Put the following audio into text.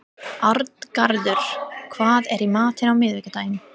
Arngarður, hvað er í matinn á miðvikudaginn?